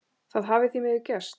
Það hafi því miður gerst.